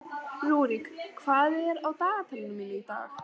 Rúrik, hvað er á dagatalinu mínu í dag?